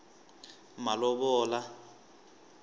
malovola